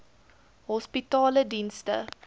hospitaledienste